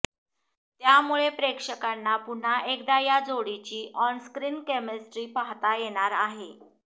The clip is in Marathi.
त्यामुळे प्रेक्षकांना पुन्हा एकदा या जोडीची ऑनस्क्रीन केमिस्ट्री पाहता येणार आहे